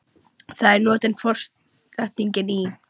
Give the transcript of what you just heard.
Þar er notuð forsetningin í.